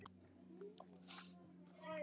Friðrik trúði mér.